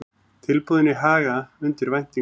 Tilboðin í Haga undir væntingum